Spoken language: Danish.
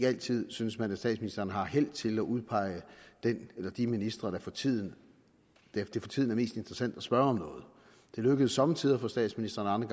altid synes man at statsministeren har held til at udpege den eller de ministre det for tiden er mest interessant at spørge om noget det lykkes somme tider for statsministeren og